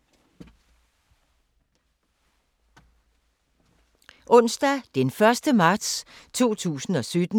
Onsdag d. 1. marts 2017